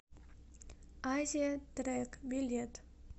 азиятрек билет